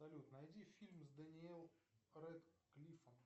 салют найди фильм с дэниел рэдклиффом